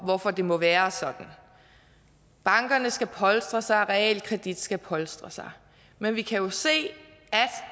hvorfor det må være sådan bankerne skal polstre sig realkreditten skal polstre sig men vi kan jo se at